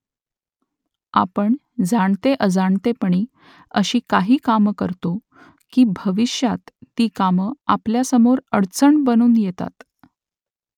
आपण जाणते अजाणतेपणी अशी काही कामं करतो की भविष्यात ती कामं आपल्यासमोर अडचणी बनून येतात